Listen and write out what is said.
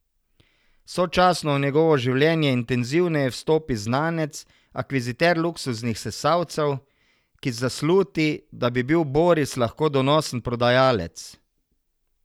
Sočasno v njegovo življenje intenzivneje vstopi znanec, akviziter luksuznih sesalcev, ki zasluti, da bi bil Boris lahko donosen prodajalec.